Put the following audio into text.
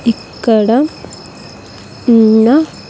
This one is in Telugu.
ఇక్కడ ఉన్న --